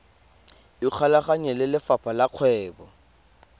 ikgolaganye le lefapha la kgwebo